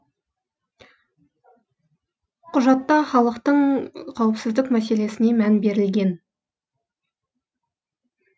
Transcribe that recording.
құжатта халықтың қауіпсіздік мәселесіне мән берілген